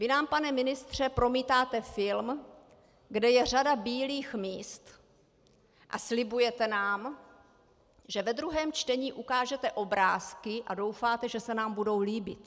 Vy nám, pane ministře, promítáte film, kde je řada bílých míst, a slibujete nám, že ve druhém čtení ukážete obrázky, a doufáte, že se nám budou líbit.